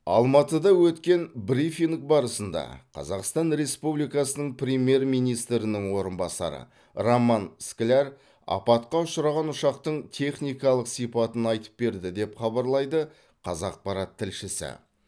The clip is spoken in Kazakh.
алматыда өткен брифинг барысында қазақстан республикасының премьер министрінің орынбасары роман скляр апатқа ұшыраған ұшақтың техникалық сипатын айтып берді деп хабарлайды қазақпарат тілшісі